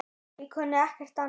Ég kunni ekkert annað.